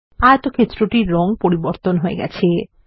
আয়তক্ষেত্র টির রঙ পরিবর্তন হয়ে গেছে